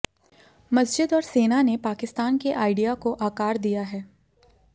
मस्जिद और सेना ने पाकिस्तान के आइडिया को आकार दिया है